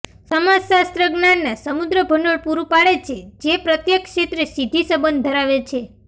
સમાજશાસ્ત્ર જ્ઞાનના સમૃદ્ધ ભંડોળ પૂરું પાડે છે જે પ્રત્યેક ક્ષેત્રે સીધી સંબંધ ધરાવે છે